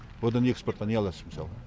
одан экспортқа не аласың мысалы